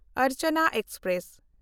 Archana express